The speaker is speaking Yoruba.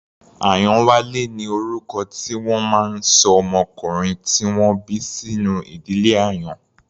Ayanwale ni orúkọ tí wọ́n máa ń ṣọ ọmọkùnrin tí wọ́n bí sínú ìdílé Àyàn.